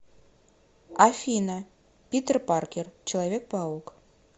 афина питер паркер человек паук